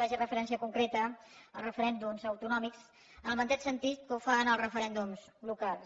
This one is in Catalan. faci referència concreta a referèndums autonòmics en el mateix sentit que ho fan els referèndums locals